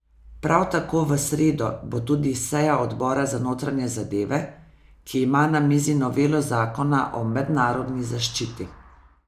Prav tako v sredo bo tudi seja odbora za notranje zadeve, ki ima na mizi novelo zakona o mednarodni zaščiti.